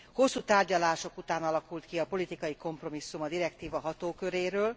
Hosszú tárgyalások után alakult ki a politikai kompromisszum a direktíva hatóköréről.